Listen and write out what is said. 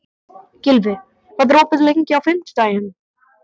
Gylfi, hvað er opið lengi á fimmtudaginn?